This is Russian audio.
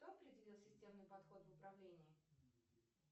кто определил системный подход в управлении